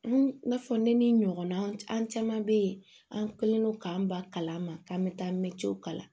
N'a fɔ ne ni ɲɔgɔn na an caman be yen an kɛlen don k'an ba kalan ma k'an bɛ taa mɛtiriw kalan